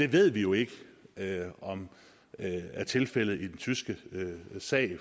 ved jo ikke om det er tilfældet i den tyske sag